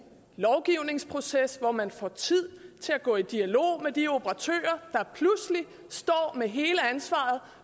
lovgivningsproces hvor man får tid til at gå i dialog med de operatører der pludselig står med hele ansvaret